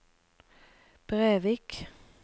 Brevik